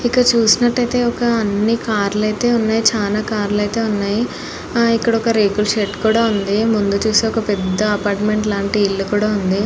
పై చిత్రం లో మనకి ఒక తెల్లని భవనం కనిపిస్తుంది చుడానికి ఒక కార్యాలయం లాగా కనిపిస్తుంది.